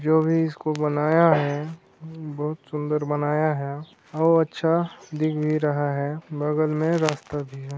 जो भी इसको बनाया है बहुत सुंदर बनाया है और अच्छा दिख भी रहा हैं बगल में रास्ता भी हैं।